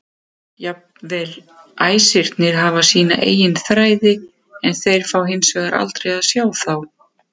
Jafnvel æsirnir hafa sína eigin þræði en þeir fá hins vegar aldrei að sjá þá.